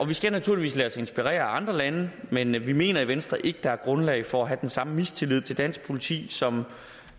vi skal naturligvis lade os inspirere af andre lande men vi mener i venstre ikke der er grundlag for at have den samme mistillid til dansk politi som